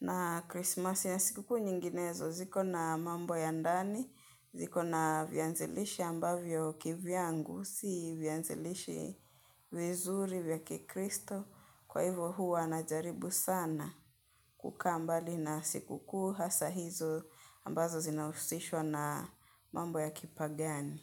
na Krismasi na siku kuu nyinginezo ziko na mambo ya ndani, ziko na vyanzilishi ambavyo kivyangu, si vyanzilishi vizuri vya kikristo kwa hivyo huwa najaribu sana. Kukaa mbali na siku kuu hasa hizo ambazo zinahusishwa na mambo ya kipagani.